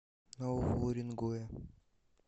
нового уренгоя